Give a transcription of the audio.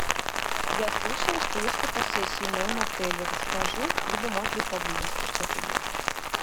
я слышала что есть фотосессии в моем отеле расскажи либо может быть поблизости что то есть